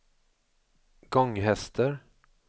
Gånghester